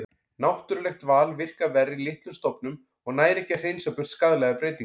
Náttúrulegt val virkar verr í litlum stofnum og nær ekki að hreinsa burt skaðlegar breytingar.